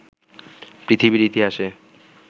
পৃথিবীর ইতিহাসে